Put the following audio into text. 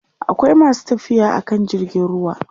akwai masu tafiya akan jirgin ruwa